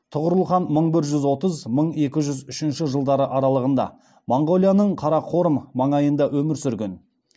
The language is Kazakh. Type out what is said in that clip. тұғырыл хан мың бір жүз отыз мың екі жүз үшінші жылдар аралығында моңғолияның қарақорым маңайында өмір сүрген